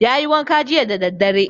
Yayi wanka jiya da daddare